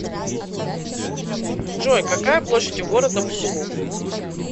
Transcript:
джой какая площадь у города бузулук